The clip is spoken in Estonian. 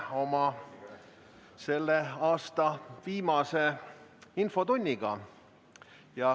Alustame selle aasta viimast infotundi.